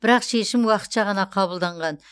бірақ шешім уақытша ғана қабылданған